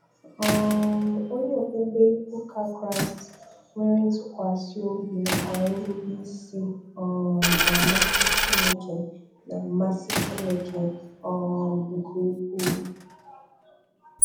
um Onye okpukpe ụka Kraịst nwere ntụkwasị obi na kwa nrube isi um n'amasị Chineke n'amasị Chineke um nke ukwu.